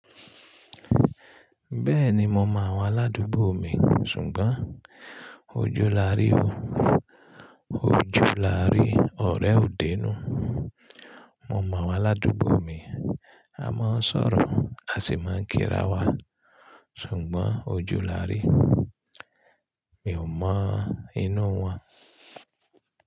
Bẹ́ẹ̀ni mo mọ àwọn aládùúgbò mi ṣùgbọn oju lárí o. Oju lárí ọ̀rẹ́ ò dé inú. Mo mọ àwọn aládùúgbò mi, a máa ń sọ̀rọ̀ a sì máa ń kírawa ṣùgbón oju lárí mi ò mọ inú wọn.